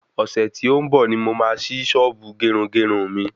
Ọ̀sẹ̀ tí ó ń bọ̀ ní mo máa sí sọ́ọ̀bù gerugeru mi